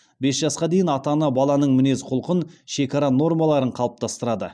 бес жасқа дейін ата ана баланың мінез құлқын шекара нормаларын қалыптастырады